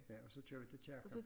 Ja og så kører vi til Kirken